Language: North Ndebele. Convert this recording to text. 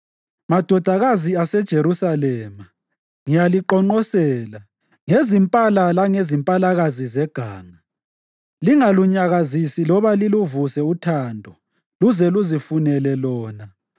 Madodakazi aseJerusalema, ngiyaliqonqosela ngezimpala langezimpalakazi zeganga. Lingalunyakazisi loba liluvuse uthando luze luzifunele lona.